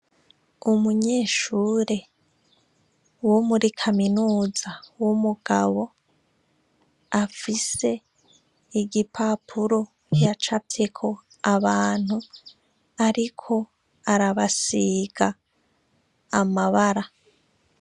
Umunyeshure wo muri kaminuza w' umugabo, afise igipapuro yacafyeko abantu ariko arabasiga amabara.